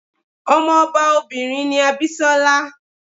Ọmọ ọba obìnrin ni Abisola.